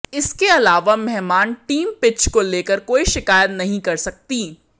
इसके अलावा मेहमान टीम पिच को लेकर कोई शिकायत नहीं कर सकती